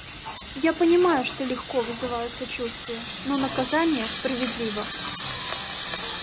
я понимаю что легко вызываю сочувствие но наказание справедливо